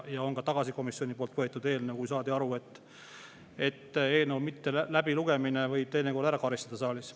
Ja on ka komisjoni poolt tagasi võetud eelnõu, kui saadi aru, et eelnõu mitteläbilugemine võib teinekord ära karistada saalis.